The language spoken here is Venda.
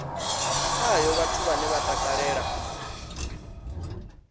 khayo vhathu vhane vha takalela